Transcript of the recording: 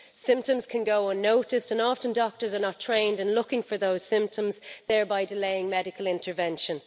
Symptoms can go unnoticed and often doctors are not trained in looking for those symptoms, thereby delaying medical intervention.